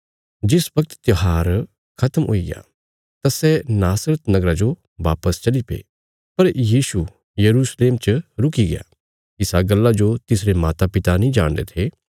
जिस बगत त्योहार खत्म हुईग्या तां सै नासरत नगरा जो बापस चलीपे पर यीशु यरूशलेम च रुकिग्या इसा गल्ला जो तिसरे मातापिता नीं जाणदे थे